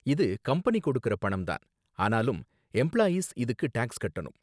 இது கம்பெனி கொடுக்கற பணம் தான், ஆனாலும் எம்ப்ளாயீஸ் இதுக்கு டாக்ஸ் கட்டணும்.